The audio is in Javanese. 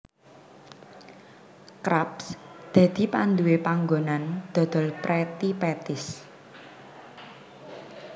Krabs dadi panduwé panggonan dodol Pretty Patties